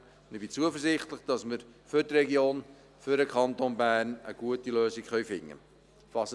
Ich bin zuversichtlich, dass wir für die Region, für den Kanton Bern, eine gute Lösung finden können.